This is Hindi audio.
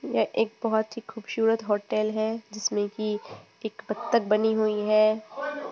यह एक बोहोत ही खूबशूरत होटल है जिसमे की एक बत्तक बनी हुई है।